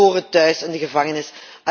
Zij horen thuis in de gevangenis.